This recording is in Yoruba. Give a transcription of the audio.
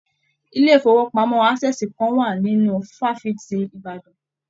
ilé ifowopamọ Access kàn wá nínú fafiti Ìbàdàn.